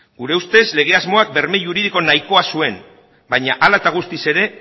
nire ustez lege asmoak berme juridiko nahikoa zuen baina hala eta guztiz ere